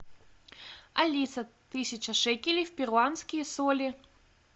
алиса тысяча шекелей в перуанские соли